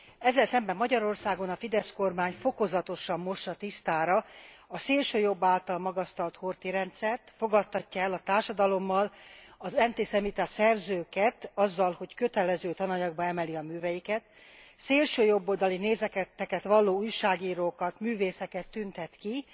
Ezzel szemben Magyarországon a Fidesz kormány fokozatosan mossa tisztára a szélsőjobb által magasztalt Horthy rendszert, fogadtatja el a társadalommal az antiszemita szerzőket azzal, hogy kötelező tananyagba emeli a műveiket. Szélsőjobboldali nézeteket valló újságírókat, művészeket tüntet ki.